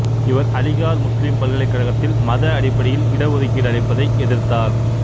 இவர் அலிகார் முஸ்லிம் பல்கலைக்கழகத்தில் மத அடிப்படையில் இட ஒதுக்கீடு அளிப்பதை எதிர்த்தார்